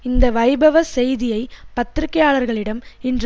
இந்த வைபவ செய்தியை பத்திரிகையாளர்களிடம் இன்று